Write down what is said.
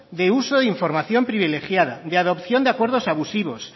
de uso e información privilegiada de adopción de acuerdos abusivos